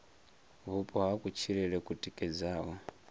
vhupo ha kutshilele ku tikedzaho